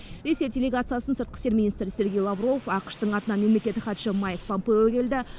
ресей делегациясын сыртқы істер министрі сергей лавров ақш тың атынан мемлекеттік хатшысы майк помпео келді